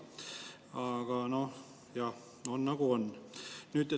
Aga noh, on, nagu on.